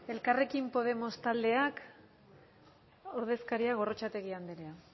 elkarrekin podemos taldeak ordezkaria gorrotxategi andrea